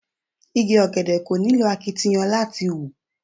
Igi ọ̀gẹ̀dẹ̀ kò nílò akitiyan púpọ̀ láti hù.